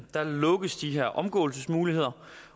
lukkes de her omgåelsesmuligheder